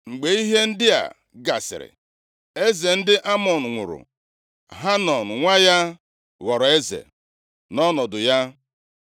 Mgbe ihe ndị a gasịrị, eze ndị Amọn + 10:1 Ndị Amọn bụ mba na-ebi nʼọzara, nʼakụkụ ọwụwa anyanwụ nke osimiri Jọdan. nwụrụ. Hanọn nwa ya ghọrọ eze nʼọnọdụ ya.